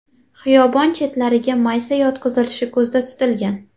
Xiyobon chetlariga maysa yotqizilishi ko‘zda tutilgan.